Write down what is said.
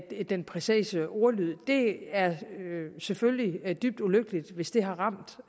den præcise ordlyd er det selvfølgelig dybt ulykkeligt hvis det har ramt